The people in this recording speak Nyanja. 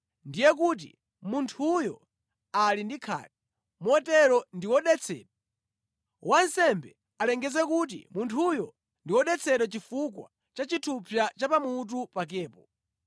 ndiye kuti munthuyo ali ndi khate, motero ndi wodetsedwa. Wansembe alengeze kuti munthuyo ndi wodetsedwa chifukwa cha chithupsa cha pamutu pakepo.